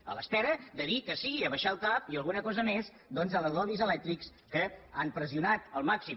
a l’espera de dir que sí i abaixar el cap i alguna cosa més doncs als lobbys elèctrics que han pressionat al màxim